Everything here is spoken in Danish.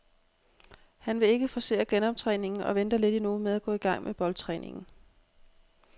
Han vil ikke forcere genoptræningen og venter lidt endnu med at gå i gang med boldtræningen.